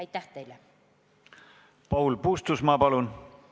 Paul Puustusmaa, palun!